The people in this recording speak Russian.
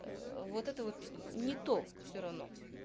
вот это вот не то все равно